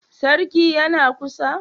Sarki yana kusa?